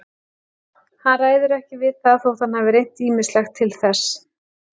Hann ræður ekki við það þótt hann hafi reynt ýmislegt til þess.